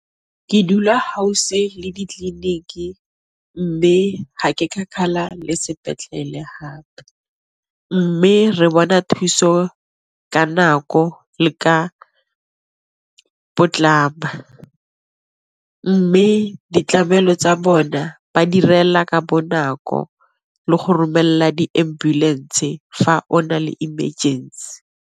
Ke dula le ditleliniki mme ga ke kgakala le sepetlele hape, mme re bona thuso ka nako le ka potlana. Mme ditlamelo tsa bona ba direla ka bonako le go romelela di ambulance fa ona le emergency.